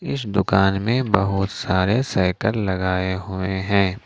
इस दुकान में बहुत सारे साइकल लगाए हुए हैं।